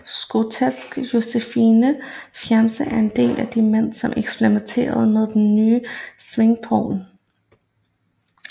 Skotske Joseph Foljambe er en af de mænd som eksperimentere med den nye svingplov